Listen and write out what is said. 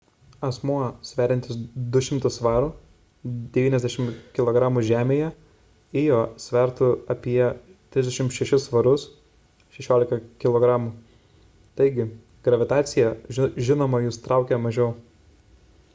asmuo sveriantis 200 svarų 90 kg žemėje ijo svertų apie 36 svarus 16 kg. taigi gravitacija žinoma jus traukia mažiau